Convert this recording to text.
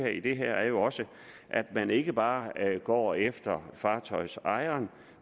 i det her er jo også at man ikke bare går efter fartøjsejeren